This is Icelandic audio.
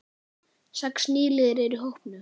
Sex nýliðar eru í hópnum.